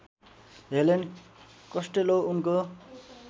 Helen Costello उनको